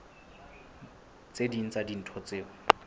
tse ding tsa dintho tseo